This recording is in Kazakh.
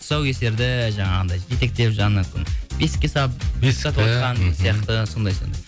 тұсаукесерді жаңағындай жетектеп бесікке салып сияқты сондай сондай